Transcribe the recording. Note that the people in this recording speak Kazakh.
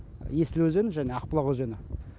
есіл өзені және ақбұлақ өзені